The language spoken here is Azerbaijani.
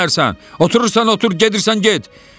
Oturursan otur, gedirsən get.